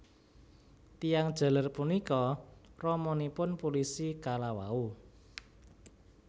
Tiyang jaler punika ramanipun pulisi kalawau